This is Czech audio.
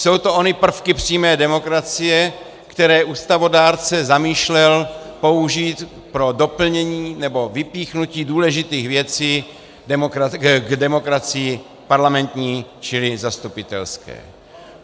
Jsou to ony prvky přímé demokracie, které ústavodárce zamýšlel použít pro doplnění nebo vypíchnutí důležitých věcí k demokracii parlamentní, čili zastupitelské.